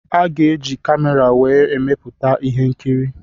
A ga-eji camera wee emeputa ihe nkiri.